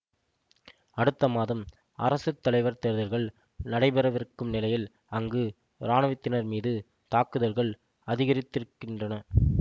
அடுத்த மாதம் அரசு தலைவர் தேர்தல்கள் நடைபெறவிருக்கும் நிலையில் அங்கு இராணுவத்தினர் மீது தாக்குதல்கள் அதிகரித்திருக்கின்றன